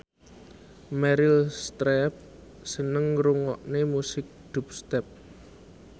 Meryl Streep seneng ngrungokne musik dubstep